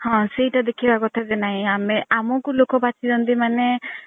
ହଁ ସେଇଟା ଦେଖିବା କଥା କି ନାଇଁ ଆମେ ଆମକୁ ଲୋକ ବାଛୁଚନ୍ତି ମାନେ